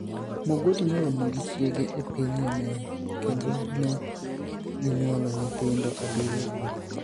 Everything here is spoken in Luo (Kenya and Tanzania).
Mogoti noromo gi chiege e piniy Yemeni, kenido ni e giniyuolo niyithinido abiriyo kuno.